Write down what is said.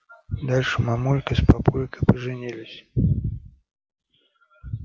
дальше мамулька с папулькой поженились